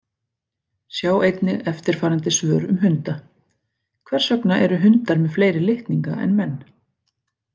Sjá einnig eftirfarandi svör um hunda: Hvers vegna eru hundar með fleiri litninga en menn?